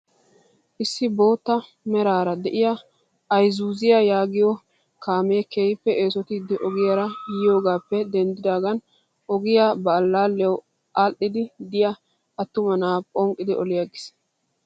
Issi bootta meraara de'iyaa izuuziyaa yaagiyoo kaamee keehippe eesottidi ogiyaara yiyoogappe denddidaagan ogiyaa ba allaaliyawu adhiidi de'iyaa attuma na'aa phonqqidi oliigis!